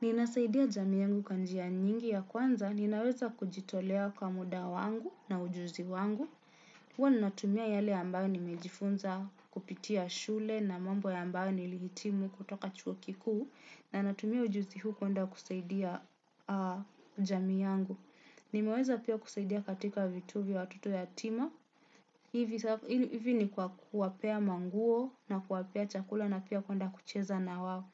Ninasaidia jamii yangu kwa njia nyingi ya kwanza, ninaweza kujitolea kwa muda wangu na ujuzi wangu. Huwa ninatumia yale ambayo nimejifunza kupitia shule na mambo ambayo nilihitimu kutoka chuo kikuu na natumia ujuzi huu kwenda kusaidia jamii yangu. Nimeweza pia kusaidia katika vituo vya watoto yatima. Hivi ni kwa kuwapea manguo na kuwapea chakula na pia kuenda kucheza na wao.